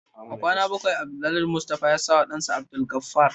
A kwana na bakwai Alhaji Mustapha ya sawa dansa Abdulgafar